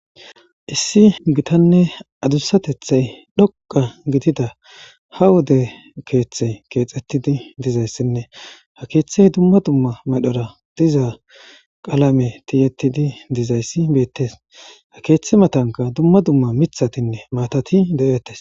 Issi gitanne adussatethay dhoqa gidida ha wode keeththey keexxettidi dizayssinne ha keeththey dumma dumma madhora diza qalame tiyettidi dizayssi beettes ha keeththi matanka dumma dumma mithatinne maatati de'etes.